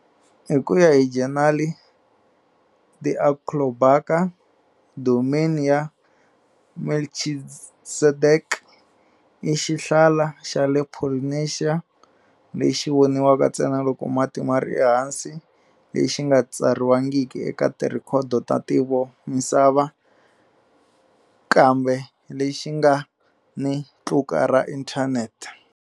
Hi ku ya hi Jornal de Alcobaça, Domain ya Melchizedek i xihlala xa le Polynesia, lexi vonakaka ntsena loko mati ma ri ehansi, lexi nga katsiwangiki eka tirhekhodo ta ntivomisava, kambe lexi nga ni tluka ra Internet.